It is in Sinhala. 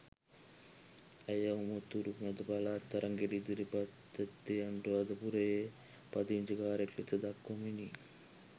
ඇය උතුරු මැද පළාත් තරගයට ඉදිරිපත්ව ඇත්තේ අනුරාධපුරයේ පදිංචිකාරියක් ලෙස දක්වමිනි.